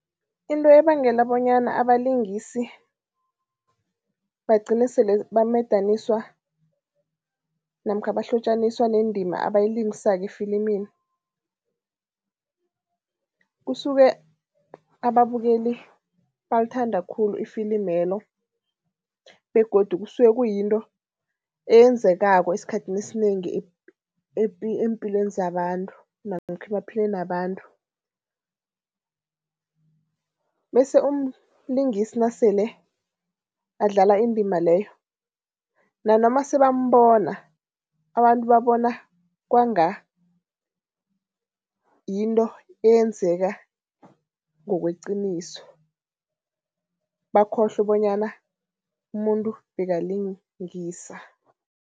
Into ebangela bonyana abalingisi bagcine sele bamadaniswa namkha bahlotjaniswa nendima abayilingisako efilimini, kusuke ababukeli balithanda khulu ifilimelo begodu kusuke kuyinto eyenzekako esikhathini esinengi eempilweni zabantu namkha emaphilweni wabantu bese umlingisi nasele adlala indima leyo, nanoma sebambona, abantu babona kwanga yinto eyenzeka ngokweqiniso, bakhohlwe bonyana umuntu bekalingisa.